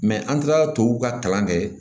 an kilala tubabuw ka kalan kɛ